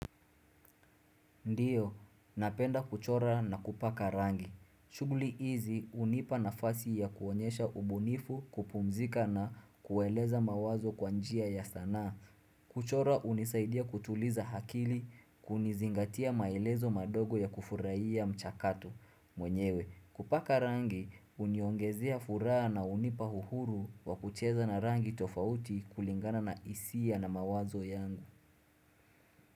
Ndiyo, napenda kuchora na kupaka rangi. Shughuli hizi hunipa na fasi ya kuonyesha ubunifu kupumzika na kueleza mawazo kwanjia ya sanaa. Kuchora unisaidia kutuliza akili kunizingatia maelezo madogo ya kufurahia mchakato. Mwenyewe, kupaka rangi uniongezea furaha na unipa uhuru wa kucheza na rangi tofauti kulingana na hisia na mawazo yangu.